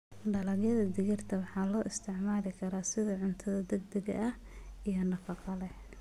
Dalagyada digirta waxaa loo isticmaali karaa sida cunto degdeg ah iyo nafaqo leh.